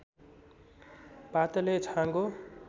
पातले छाँगो